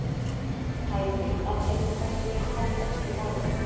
Hæpið að einkaneysla standi undir hagvexti